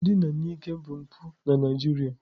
Ndina n'ike bụ mpụ na nigeria.